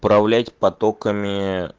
управлять потоками